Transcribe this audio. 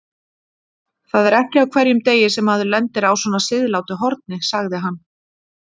Það er ekki á hverjum degi sem maður lendir á svona siðlátu horni, sagði hann.